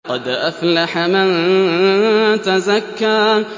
قَدْ أَفْلَحَ مَن تَزَكَّىٰ